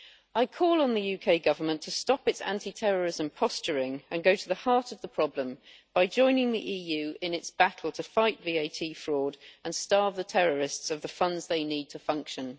I call on the UK Government to stop its anti terrorism posturing and go to the heart of the problem by joining the EU in its battle to fight VAT fraud and starve the terrorists of the funds they need to function.